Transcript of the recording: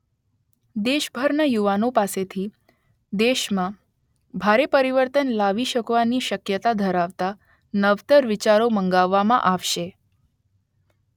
દેશભરના યુવાનો પાસેથી દેશમાં ભારે પરિવર્તન લાવી શકવાની શક્યતા ધરાવતા નવતર વિચારો મંગાવવામાં આવશે